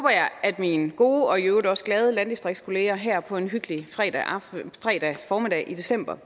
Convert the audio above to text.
at mine gode og i øvrigt også glade landdistriktskolleger her på en hyggelig fredag formiddag i december